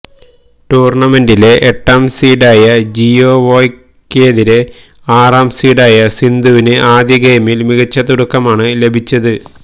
ടൂർണമെന്റിലെ എട്ടാം സീഡായ ജിയാവോയ്ക്കേതിരേ ആറാം സീഡായ സിന്ധുവിന് ആദ്യ ഗെയിമിൽ മികച്ച തുടക്കമാണ് ലഭിച്ചത്